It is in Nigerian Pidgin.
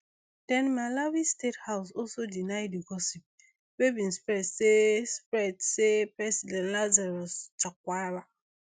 then malawi state house also deny di gossip wey bin spread say spread say president lazarus chakwara